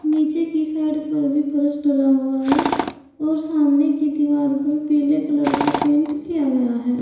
नीचे की साइड पर भी फर्श डाला हुआ है और सामने की दीवार पर पीले कलर का पेंट किया गया है।